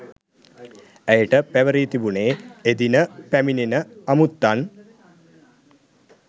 ඇයට පැවරී තිබුණේ එදින පැමිණෙන අමුත්තන්